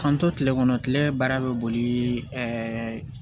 K'an to kile kɔnɔ kile baara bɛ boli ɛɛ